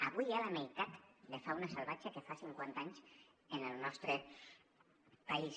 avui hi ha la meitat de fauna salvatge que fa cinquanta anys en el nostre país